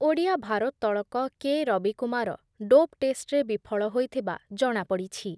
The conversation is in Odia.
ଓଡ଼ିଆ ଭାରୋତ୍ତଳକ କେ ରବିକୁମାର ଡୋପ୍ ଟେଷ୍ଟରେ ବିଫଳ ହୋଇଥିବା ଜଣାପଡ଼ିଛି ।